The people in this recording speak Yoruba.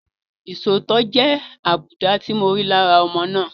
Isòótọ́ jẹ́ àbùdá tí mo rí lára ọmọ náà.